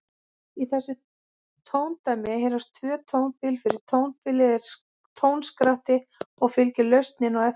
Í þessu tóndæmi heyrast tvö tónbil, fyrra tónbilið er tónskratti og fylgir lausnin á eftir.